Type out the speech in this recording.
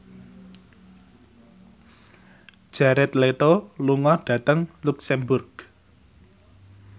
Jared Leto lunga dhateng luxemburg